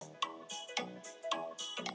Hjördís: Ætlið þið að vera lengi?